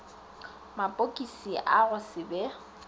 mapokisi a go se be